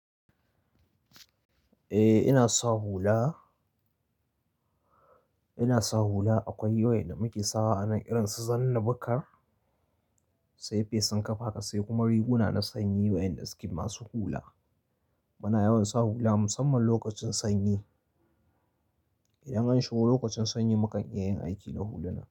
Eh ina sa hula. Ina sa hula akwai yawan da muke sawa anan irin su zanna bakar, tsefe, tsinkafa ka sai kuma riguna na sanyi waƴanda suke masu hula. Muna yawan sa hula musamman lokacin sanyi. Idan an shigo lokacin sanyi mukan iya yin aiki da hulunan.